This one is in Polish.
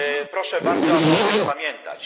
Proszę bardzo, aby o tym pamiętać.